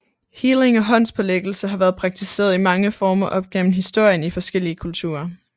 Healing og håndspålæggelse har været praktiseret i mange former op gennem historien i forskellige kulturer